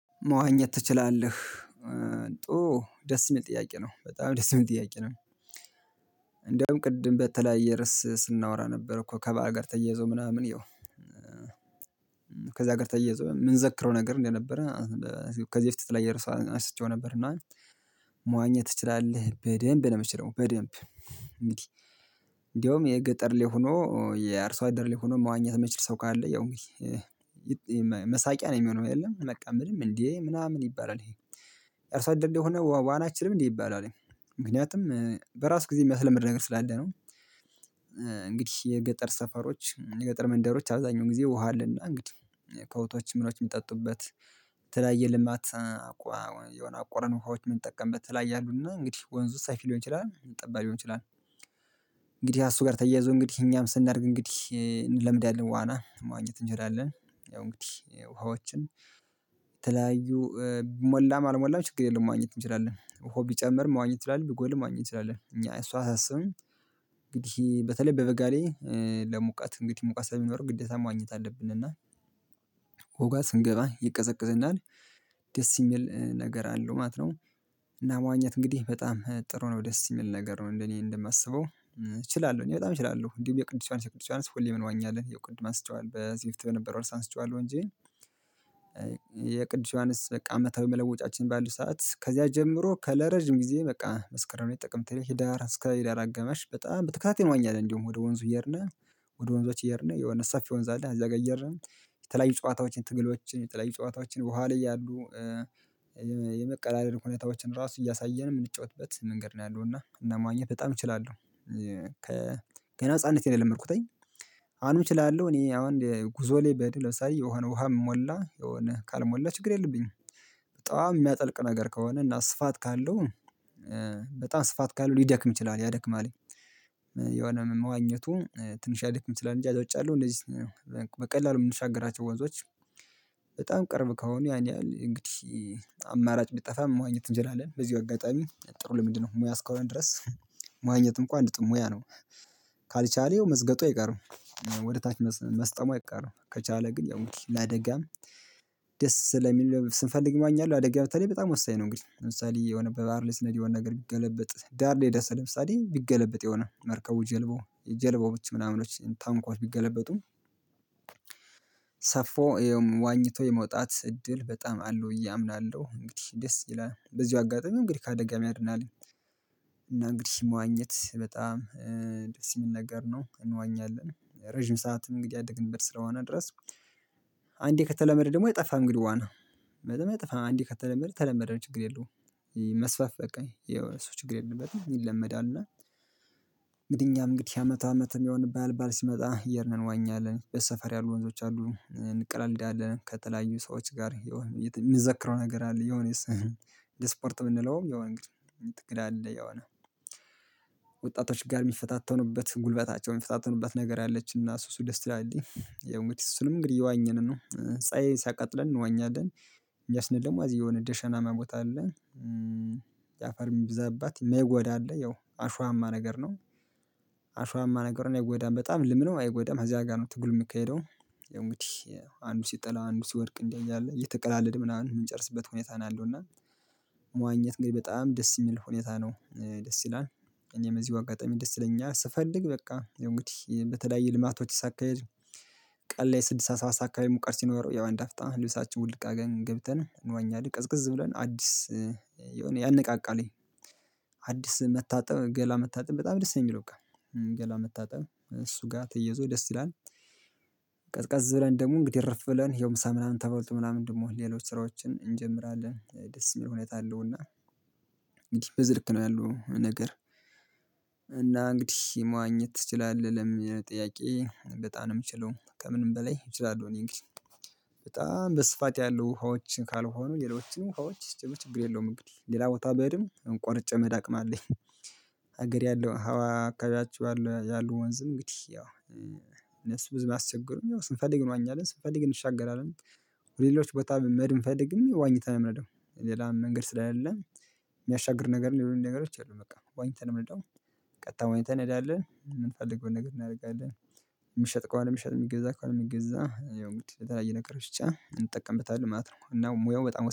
መዋኘት ትችላለህ? ጥሩ ደስ የሚል ጥያቄ ነው በጣም ደስ የሚል ጥያቄ ነው እንደውም ቅድም በተለያየ ርዕስ ስናወራ ነበር እኮ ከበዓል ጋር ተየዞ ምናምን ይኸው። ከዛ ጋር ተያይዞ ምንዘክረው ነገር እንደነበረ። ከዚህ በፊት ላይ የተለያየ ርዕስ አንስቼው ነበር እና። መዋኘት ትችላለህ በደንብ ምችለው በደንብ። እንግዲህ እንዲያውም የገጠር ላይ ሆኖ የአርሶ አደር ላይ ሆኖ መዋኘት ማይችል ሰው ካለ ያው እንግዲህ መሳቂያ ነው። የሚሆነው አይደለም በቃ ምንም እንዴ ምናምን ይባላል። ይሄ እርሶ አደር ልጅ እንደሆነ ዋና አችልም እንዴ ይባላልኝ። ምክንያቱም በራሱ ጊዜ የሚያስለምድ ነገር ስላለ ነው። እንግዲህ የገጠር ሰፈሮች የገጠር መንደሮች አብዛኛው ጊዜ ውሃ አለና እንግዲህ ከብቶች ምኖች ሚጠጡበት የተለያየ ልማት። የሆነ አቁረን ውሃዎች ምን ጠቀምበት የተለያየ አሉና እንግዲህ ወንዙ ሰፊ ሊሆን ይችላል ጠባብ ሊሆን ይችላል። እንግዲህ እሱ ጋር ተያይዞ እንግዲህ እኛም ስናደርግ እንግዲህ እንለምዳለን ዋና መዋኘት እንችላለን። ያው እንግዲህ ውሃዎችን የተለያዩ ሞላም አልሞላም ችግር የለም ማግኘት እንችላለን ውሃው ቢጨምር መዋኘት እንችላለን ቢጎልም መዋኘት እንችላለን እኛ እሱ አያሳስብም። እንግዲህ በተለይ በበጋ ላይ ለሙቀት እንግዲህ ሙቀት ስለሚኖረው ግዴታ መዋኘት አለብነ እና። ውሃው ጋ ስንገባ ይቀዘቅዝናል ደስ የሚል ነገር አለው ማለት ነው። እና መዋኘት እንግዲህ በጣም ጥሩ ነው ደስ ሚል ነገር ነው እንደኔ እንደማሰበው። እችላለሁ እኔ በጣም እችላለሁ እንዲሁም የቅዱስ ዮሐንስ የቅዱስ ዮሐንስ ሁሌም እንዋኛለን ቅድም አንስቼዋለው በከዚህ በፊት በነበረው እርስ አንስቸዋለሁ እንጂ። ዮሐንስ በቃ መቶ የመለወጫችን ባሉ ሰዓት ከዚያ ጀምሮ ለረጅም ጊዜ በቃ መስከረም ጥቅምት ህሂዳር እስከ ሂዳር አጋማሽ በጣም በተከታታይ እንዋኛለን። እንደውም ወደ ወንዙ እየሄድነ ወደ ወንዞች እየሄድነ የሆነ ሰፊ ወንዝ አለ እዛ ጋ እየሄድነ የተለያዩ ጨዋታዎችን ትግሎችን የተለያዩ ጨዋታዎችን ውኋ ላይ ያሉ። የመቀላለድ ሁኔታዎችን ራሱ እያሳየን የምንጫወትበት መንገድ ነው ያለው እና እና ማግኘት በጣም እችላለሁ። ገና ህፃንነቴ የለመድኩተኝ። አሁንም እችላለሁ እኔ አሁን ጉዞ ላይ ብሄድ ለምሳሌ የሆነ ውሃ ሞላ የሆነ ካልሞላ ችግር የለብኝም። በጣም የሚያጠልቅ ነገር ከሆነ እና ስፋት ካለው። በጣም ስፋት ካለው ሊደክም ይችላል ያደክማለኝ። የሆነ መዋኘቱ ትንሽ ሊያደክም ይችላል እንጅ ከዛ ውጭ ያለው እንደዚህ። በቀላሉ ምንሻገራቸው ወንዞች። በጣም ቅርብ ከሆነ ያን ያህል እንግዲህ አማራጭ ቢጠፋም መዋኘት እንችላለን በዚህ አጋጣሚ ጥሩ ልምድ ነው ሙያ እስካሆነ ድረስ። መዋኘትም እንኳን አንድ ጥሩ ሙያ ነው። ካልቻለ መዝገጡ አይቀርም። ወደ ታች መስጠሙ አይቀርም ከቻለ ግን ያው እንግዲህ ለአደጋም ደስ ለሚል ስንፈልግ እዋኛለሁ አደጋ በተለይ በጣም ወሳኝ ነው እንግዲህ ለምሳሌ የሆነ በባህር ላይ ስንሄድ የሆነ ነገር ቢገለብጥ ዳር ላይ ደርስህ ለምሳሌ ቢገለብጥ የሆነ መርከቡ ጀልባው የጀልባዎች ምናምኖች ታንኳዎች ቢገለበጡ። ሰፎ ዋኝቶ የመውጣት እድል በጣም አለው ብየ አምናለሁ እንግዲህ ደስ ይላል በዚሁ አጋጣሚው እንግዲህ ከአደጋም ያድናለኝ። እና እንግዲህ መዋኘት በጣም ደስ የሚል ነገር ነው እንዋኛለን ረጅም ሰዓት እንግዲህ ያደግንበት ስለሆነ ድረስ። አንዴ ከተለመደ ደግሞ አጠፋም እንግዲህ ዋና በአንዴ ከተለመደ ተለመደ ነው ችግር የለውም። መስፋፍ በቃ የሆነ ሰው ችግር የለበትም ይለመዳል እና። እንግዲህ እኛም እንግዲህ የአመት አመትም የሆነ ባል ባል ሲመጣ እየሄድነ እንዋኛለን በሰፈር ያሉ ወንዞች አሉ እንቀላልዳለን ከተለያዩ ሰዎች ጋር። ሚዘክረው ነገር አለ የሆነስ። ለስፖርት ብንለውም የሆነ ግን ትክክል አለ የሆነ። ወጣቶች ጋር የሚፈታተኑበት ጉልበታቸው የሚፈታተኑበት ነገር አለች እና ሱሱ ደስ ትላለህ የሙቲስ ሱስንም እንግዲህ እየዋኘንን ነው ፀሀይ ሲያቀጥለን እንወኛለን። እንዲያ ስንል ደግሞ የሆነ ደሸናማ ቦታ አለ አፈርም የሚበዛባት ማይጎዳ አለ ያው አሸዋማ ነገር ነው። አሸዋማ ነገር ነው የጎዳም በጣም ልምዱን አይጎዳም አዚያ ጋር ነው ትግሉ የሚካሄደው። እንግዲህ አንዱ ሲጥል አንዱ ሲወድቅ እንዲህ እያለ እየተቀላለድ ምናምን የምንጨርስበት ሁኔታ ነው አለው እና። መዋኘት እንግዲህ በጣም ደስ የሚል ሁኔታ ነው ደስ ይላል። እኔም እዚሁ አጋጣሚ ደስ ይለኛል ስፈልግ በቃ እንግዲህ በተለያየ ልማቶች ሳካሂድ። ቀን ላይ ስድስተ ሰባት ሰዓት አካባቢ ሙቀር ሲኖረው ያው አንድ አፍጣን ህሊናችን ውድቅ አገኝ ገብተናል እንዋኛለን ቅዝቅዝ ብለን አዲስ። የሆነ ያንቃቃለኝ። አዲስ መታጠብ ገላ መታጠብ በጣም ደስ ነኝ የሚለው በቃ። ገላን መታጠብ እሱ ጋር ተየዞ ደስ ይላል። ቀዝቀዝ ብለን ደግሞ እንግዲህ ረፍ ብለን የምሳ ምናምን ተበልቶ ምናምን ደግሞ ሌሎች ስራዎችን እንጀምራለን ደስ የሚል ሁኔታ አለውና። እንግዲህ በዝርክ ነው ያለው ነገር። እና እንግዲህ መዋኘት ትችላለህ ለምን? ጥያቄ በጣም ነው የምችለው ከምንም በላይ እችላለሁ እኔ እንግዲህ። በጣም በስፋት ያሉ ሀዎችን ካልሆኑ ሌሎችም ውሃዎች ስትመቸብ ችግር የለውም እንግዲህ ሌላ ቦታ በደንብ እንቆርጨ መሄድ አቅም አለኝ። ሀገር ያለው ሀዋ አካባቢያችሁ ያሉ ወንዝ እንግዲህ ያው። እነሱ ብዙ ማስቸገሩኝ ያው ስንፈልግ እንዋኛለን ስንፈልግ እንሻገራለን። ሌሎች ቦታም መሄድም ብንፈልግም ዋኝተን ነው የምነደው። ሌላም መንገድ ስላልለ። የሚያሻግር ነገር ሌሎኝ ነገሮች አሉ በቃ ዋኝተን የምንለደው። ቀጣይ ዋኝተን እንሄዳለን የምንፈልግውን ነገር እናደርጋለን። የምሸጥ ቆይ ነው የምሸጥ የሚገዛ ከሆነ የሚገዛ ያው እንግዲህ ተራ ነገሮች ብቻ እንጠቀምበታለን ማለት ነው። እና ሙያው በጣም